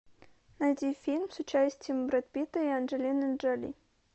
найди фильм с участием брэда питта и анджелины джоли